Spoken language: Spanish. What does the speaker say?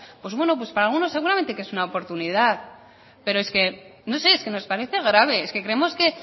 pues bueno pues para algunos seguramente que es una oportunidad pero es que nos parece grave es que creemos que